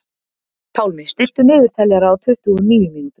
Pálmi, stilltu niðurteljara á tuttugu og níu mínútur.